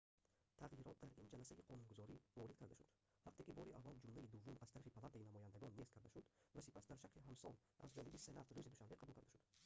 тағйирот дар ин ҷаласаи қонунгузорӣ ворид карда шуд вақте ки бори аввал ҷумлаи дуввум аз тарафи палатаи намояндагон нест карда шуд ва сипас дар шакли ҳамсон аз ҷониби сенат рӯзи душанбе қабул карда шуд